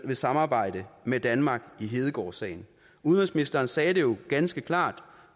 vil samarbejde med danmark i hedegaardsagen udenrigsministeren sagde det jo ganske klart